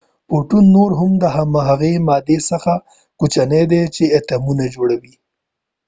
فوټون نور هم د هغې مادي څخه کوچنی دي چې اتومونه جوړی